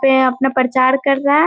तो यहाँ अपना प्रचार कर रहा है।